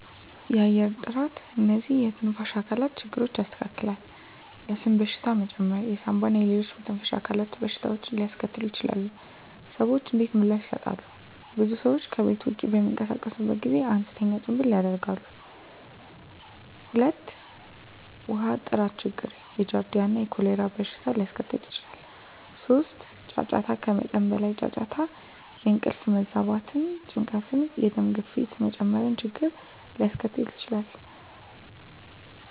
1. የአየር ጥራት *እነዚህ የትንፋሽ አካላት ችግሮችን ያስከትላል፣ የአስም በሽታ መጨመር የሳንባ እና ሌሎች የመተንፈሻ አካላት በሽታዎችን ሊያስከትሉ ይችላሉ። **ሰዎች እንዴት ምላሽ ይሰጣሉ? *ብዙ ሰዎች ከቤት ውጭ በሚንቀሳቀሱበት ጊዜ አነስተኛ ጭምብል ያደርጋሉ። 2. ውሃ ጥራት ችግር የጃርዲያ እና የኮሌራ በሽታ ሊያስከትል ይችላል። 3. ጫጫታ ከመጠን በላይ ጫጫታ የእንቅልፍ መዛባት፣ ጭንቀት፣ የደም ግፊት መጨመር ችግርን ሊያስከትል ይችላል።